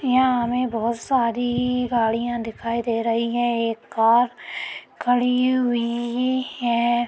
यहाँ हमें बहोत सारी गाड़ियाँ दिखाई दे रही है। एक कार खड़ी हुई है।